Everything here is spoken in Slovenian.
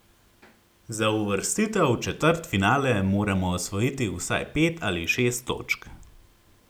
Za uvrstitev v četrtfinale moramo osvojiti vsaj pet ali šest točk.